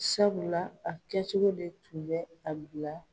Sabula a kɛcogo de kun bɛ a bila